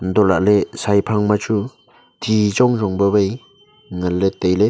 hantohlakley shai phang ma chu thi chong chong pawai nganley tailey.